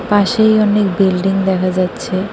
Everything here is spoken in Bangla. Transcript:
পাশেই অনেক বিল্ডিং দেখা যাচ্ছে।